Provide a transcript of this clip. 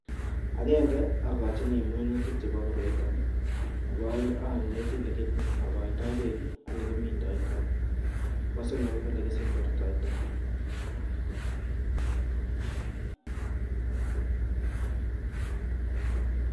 Akennge akochini minutik chebo koroito, nebo ae'ng aneti olikenakaito bek ak ole kimindaito, nebo somok ko ole kisemberta.